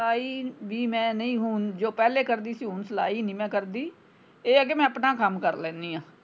ਸਲਾਈ ਵੀ ਮੈਂ ਨਹੀਂ ਹੁਣ ਜੋ ਪਹਿਲੇ ਕਰਦੀ ਸੀ ਹੁਣ ਸਲਾਈ ਨਹੀਂ ਮੈਂ ਕਰਦੀ ਇਹ ਆ ਕਿ ਮੈਂ ਆਪਣਾ ਕੰਮ ਕਰ ਲੈਣੀ ਆਂ।